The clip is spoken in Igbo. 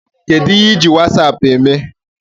Kedụ ihe I ji wasaapụ eme?